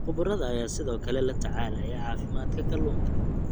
Khubarada ayaa sidoo kale la tacaalaya caafimaadka kalluunka.